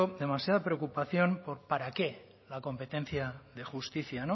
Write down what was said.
demasiada preocupación para qué la competencia de justicia